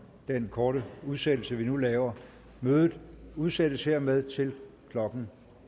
den korte udsættelse vi nu laver mødet udsættes hermed til klokken